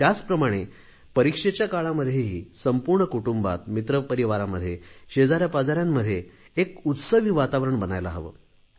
त्याचप्रमाणे परीक्षेच्या काळामध्येही संपूर्ण कुटुंबात मित्रपरिवारामध्ये शेजाऱ्या पाजाऱ्यांमध्ये एक उत्सवी वातावारण बनायला हवे